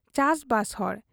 ᱪᱟᱥᱵᱟᱥ ᱦᱚᱲ ᱾